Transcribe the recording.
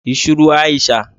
Yi shiru Aisha